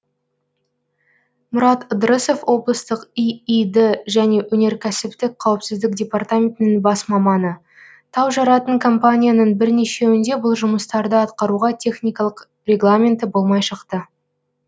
мұрат ыдырысов облыстық иид және өнеркәсіптік қауіпсіздік департаментінің бас маманы тау жаратын компанияның бірнешеуінде бұл жұмыстарды атқаруға техникалық регламенті болмай шықты